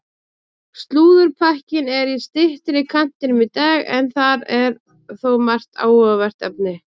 Slúðurpakkinn er í styttri kantinum í dag en þar er þó margt áhugavert efni.